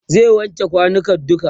zai wanke kwanukan duka